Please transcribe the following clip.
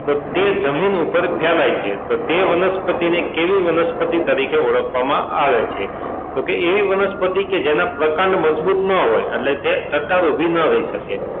તો તે જમીન ઉપર ફેલાય છે તો તે વનસ્પતિને કેવી વનસ્પતિ તરીકે ઓળખવામાં આવે છે તો કે એવી વનસ્પતિ કે જેમના પ્રકાંડ મજબૂત ન હોય એટલે તે ટટ્ટાર ઊભી ન રહી શકે.